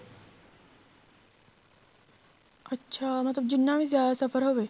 ਅੱਛਾ ਮਤਲਬ ਜਿੰਨਾ ਵੀ ਜਿਆਦਾ ਸਫ਼ਰ ਹੋਵੇ